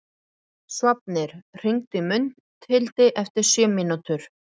Sváfnir, hringdu í Mundhildi eftir sjö mínútur.